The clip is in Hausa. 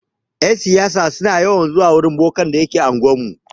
Yan siyasa suna yawan zuwa wurin bokan da ke anguwar mu.